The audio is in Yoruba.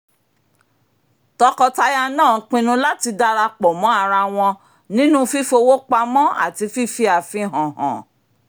tọkọtaya náà pinnu láti darapọ̀ mọ́ ara wọn nínú fífowó pamọ́ àti fífi àfihàn hàn